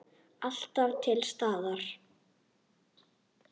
Alltaf til staðar.